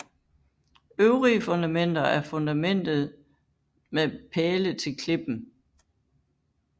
Øvrige fundamenter er fundamentet med pæle til klippen